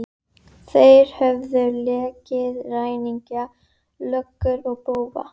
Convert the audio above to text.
Þeir höfðu leikið ræningja, löggur og bófa.